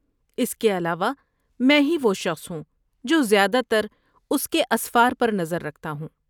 اس کے علاوہ، میں ہی وہ شخص ہوں جو زیادہ تر کے اسفار پر نظر رکھتا ہوں۔